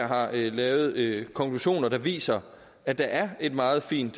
har lavet konklusioner der viser at der er et meget fint